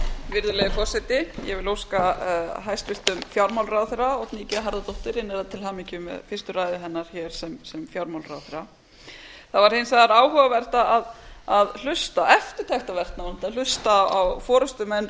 virðulegi forseti ég vil óska hæstvirtum fjármálaráðherra oddný g harðardóttur innilega til hamingju með fyrstu ræðu hennar hér sem fjármálaráðherra það var hins vegar áhugavert að hlusta og eftirtektarvert nánast að hlusta á forustumenn